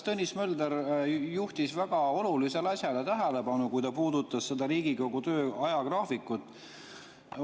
Minu meelest juhtis Tõnis Mölder tähelepanu väga olulisele asjale, kui ta puudutas Riigikogu töö ajagraafikut.